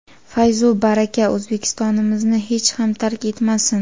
fayz-u baraka O‘zbekistonimizni hech ham tark etmasin!.